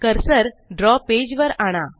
cursor द्रव page वर आणा